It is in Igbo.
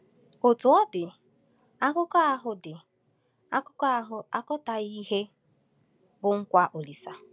Otú ọ dị, Akụkọ ahụ dị, Akụkọ ahụ akọtaghị ihe bụ́ nkwa Olise.